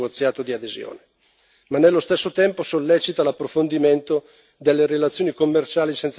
ma nello stesso tempo sollecita l'approfondimento delle relazioni commerciali senza condizioni particolari.